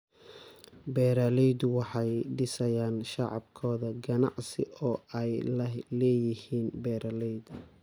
Beeraleydu waxay dhisayaan shabakado ganacsi oo ay la leeyihiin beeralayda.